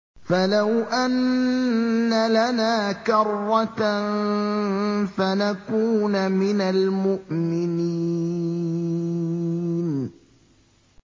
فَلَوْ أَنَّ لَنَا كَرَّةً فَنَكُونَ مِنَ الْمُؤْمِنِينَ